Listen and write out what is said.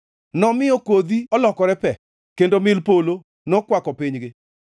Nomiyo kodhi olokore pe kendo mil polo nokwako pinygi;